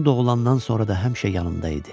o doğulandan sonra da həmişə yanında idi.